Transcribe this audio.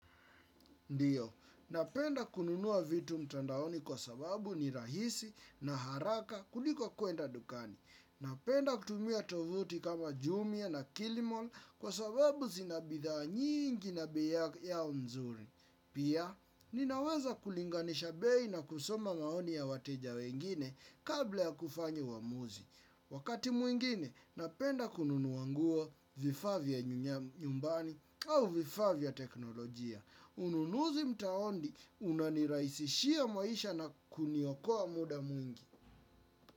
Ndiyo, napenda kununua vitu mtandaoni kwa sababu ni rahisi na haraka kuliko kuenda dukani. Napenda kutumia tovuti kama jumia na kilimall kwa sababu zina bidhaa nyingi na bei yao nzuri. Pia, ninaweza kulinganisha bei na kusoma maoni ya wateja wengine kabla ya kufanya uamuzi. Wakati mwingine, napenda kununua nguo vifaa vya nyumbani au vifaa vya teknolojia. Ununuzi mtaondi unanirahisishia maisha na kuniokoa muda mwingi.